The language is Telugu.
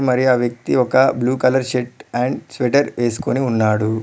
మరియు ఆ వ్యక్తి ఒక blue colour shirt and sweater వేసుకుని ఉన్నాడు.